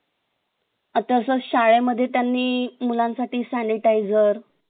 अता तसं शाळे मध्ये त्यांनी मुलांसाठी sanitiser